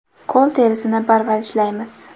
Qo‘l terisini parvarishlaymiz.